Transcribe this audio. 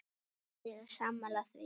Ég er sammála því.